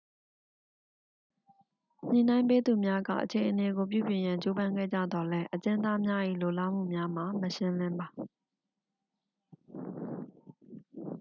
ညှိနှိုင်းပေးသူများက အခြေအနေကို ပြုပြင်ရန် ကြိုးပမ်းခဲ့ကြသော်လည်း အကျဉ်းသားများ၏ လိုလားမှုများမှာ မရှင်းလင်းပါ